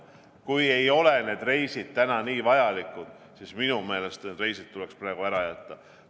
Kui need reisid ei ole täna nii vajalikud, siis minu meelest tuleks need reisid praegu ära jätta.